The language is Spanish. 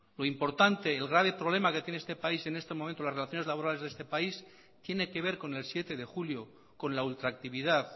lo importante el grave problema que tiene este país en este momento en las relaciones laborales de este país tiene que ver con el siete de julio con la ultractividad